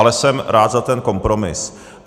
Ale jsem rád za ten kompromis.